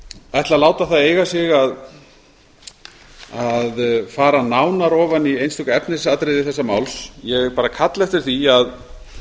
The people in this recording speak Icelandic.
ætla að láta það eiga sig að fara nánar ofan í einstök efnisatriði þessa máls ég bara kalla eftir því að